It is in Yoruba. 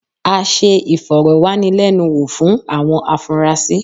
A ṣe ìfọ̀rọ̀wánilẹ́nuwò fún àwọn afunrasí.